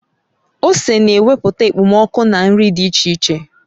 Ose na-wepụta ekpomoku na nri dị iche iche